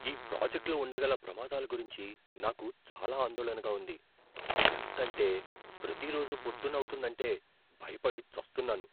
ఈ ప్రాజెక్ట్లో ఉండగల ప్రమాదాల గురించి నాకు చాలా ఆందోళనగా ఉంది, ఎంతంటే ప్రతిరోజు పొద్దున్న అవుతోందంటే భయపడి చస్తున్నాను.